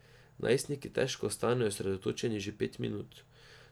Najstniki težko ostanejo osredotočeni že pet minut.